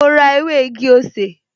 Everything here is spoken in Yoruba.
Mo rá ew´ igi-osè